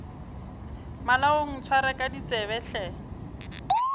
malaong ntshware ka ditsebe hle